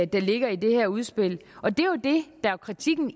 der ligger i det her udspil og det er jo det der er kritikken